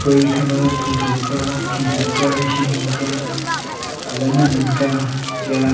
kue ekhama thotho ka khikhi ka hinghing ka alah e nannan ka taiya..